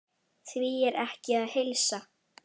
Því er ekki að heilsa.